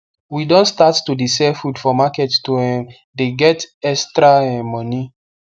we don start to de sell food for market to um the get extra um money